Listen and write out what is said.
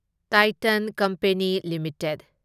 Titan company limited